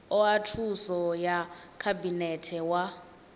oa thuso ya khabinete wa